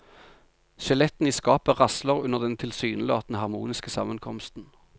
Skjelettene i skapet rasler under den tilsynelatende harmoniske sammenkomsten.